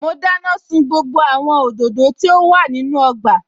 Mo dáná sun gbogbo àwọn òdòdó tí ó wà nínú ọgbà